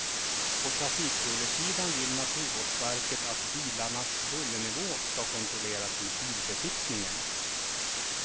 På trafikbullersidan vill naturvårdsverket att bilarnas bullernivå ska kontrolleras vid bilbesiktningen.